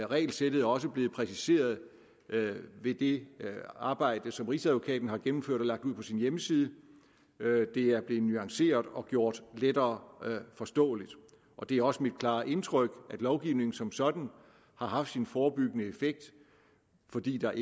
regelsættet også blevet præciseret ved det arbejde som rigsadvokaten har gennemført og lagt ud på sin hjemmeside det er blevet nuanceret og gjort lettere forståeligt og det er også mit klare indtryk at lovgivningen som sådan har haft sin forebyggende effekt fordi der